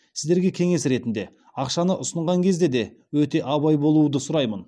сіздерге кеңес ретінде ақшаны ұсынған кезде де өте абай болуды сұраймын